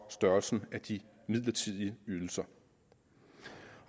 størrelsen af de midlertidige ydelser